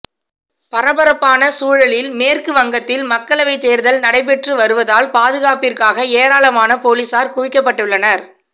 பரபரப்பான சூழலில் மேற்குவங்கத்தில் மக்களவை தேர்தல் நடைபெற்று வருவதால் பாதுகாப்பிற்காக ஏராளமான போலீஸார் குவிக்கப்பட்டுள்ளனர்